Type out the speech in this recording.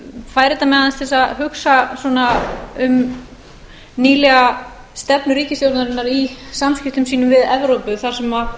fær þetta mig aðeins til að hugsa um nýlega stefnu ríkisstjórnarinnar í samskiptum sínum við evrópu þar sem